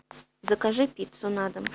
закажи пиццу на дом